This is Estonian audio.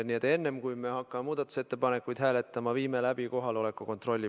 Nii et enne, kui hakkame muudatusettepanekuid hääletama, viime läbi kohaloleku kontrolli.